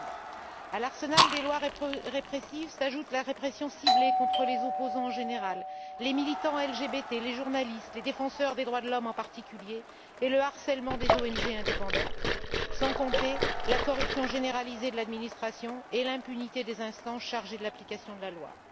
2012. À l'arsenal des lois répressives s'ajoutent la répression ciblée contre les opposants en général les militants LGBT, les journalistes et les défenseurs des droits de l'homme, en particulier et le harcèlement des ONG indépendantes, sans compter la corruption généralisée de l'administration et l'impunité des instances chargées de l'application de la loi.